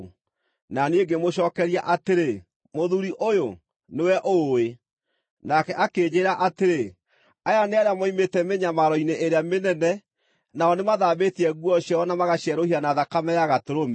Na niĩ ngĩmũcookeria atĩrĩ, “Mũthuuri ũyũ, nĩwe ũũĩ.” Nake akĩnjĩĩra atĩrĩ, “Aya nĩ arĩa moimĩte mĩnyamaro-inĩ ĩrĩa mĩnene; nao nĩmathambĩtie nguo ciao na magacierũhia na thakame ya Gatũrũme.